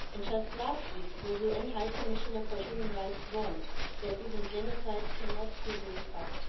Just last week, the UN High Commissioner for Human Rights warned that even genocide cannot be ruled out.